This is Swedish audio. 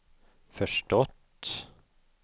förstått